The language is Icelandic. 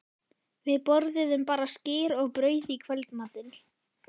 Við borðuðum bara skyr og brauð í kvöldmatinn.